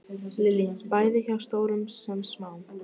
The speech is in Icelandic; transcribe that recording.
Lillý: Bæði hjá stórum sem smáum?